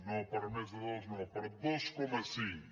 no per més de dos no per dos coma cinc